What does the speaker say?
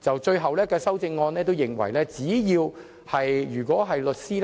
最終的修正案內容是指，只要有關律師